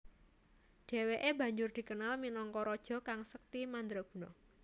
Dheweke banjur dikenal minangka raja kang sekti mandraguna